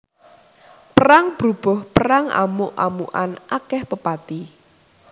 Perang brubuh perang amuk amukan akèh pepati